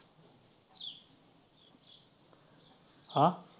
आ.